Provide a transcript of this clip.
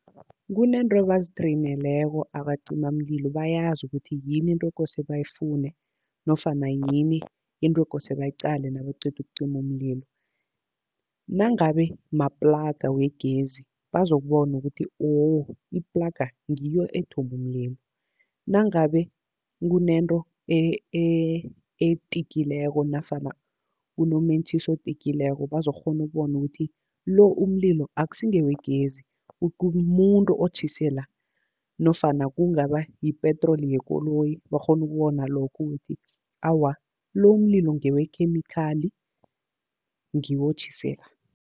Kuneento ebazitreyineleko abacimamlilo, bayazi ukuthi yini into ekose bayifune nofana yini into ekose bayiqale nabaqeda ukucima umlilo. Nangabe maplaga wegezi bazokubona ukuthi, woh iplaga ngiyo ethome umlilo. Nangabe kunento etikileko nofana kunomentjhisi otilkieko, bazokukghona ukubona ukuthi lo umlilo akusi ngewegezi mumuntu otjhise la. Nofana kungaba yipetroli yekoloyi, bakghona ukubona lokho ukuthi awa lo umlilo ngewekhemikhali ngiwo otjhise la.